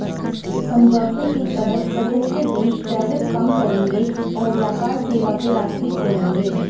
समझौते के तहत सदस्य देश टैरिफ़ कम करेंगे और व्यापार सेवा के रास्ते खोलेंगे